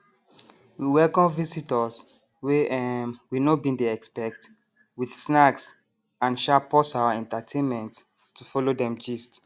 we welcome visitors wey um we no bin dey expect with snacks and um pause our entertainment to follow them gist